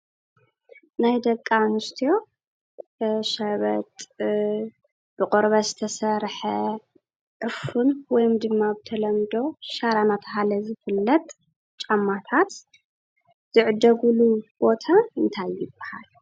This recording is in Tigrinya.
ናይ ደቂ አንስትዮ ሸበጥ ብቆርበት ዝተሰርሐ ዕፉን ወይም ድማ ብተለምዶ ሻራ እናተባህለ ዝፍለጥ ጫማታት ዝዕደግሉ ቦታ እንታይ ይባሃል ?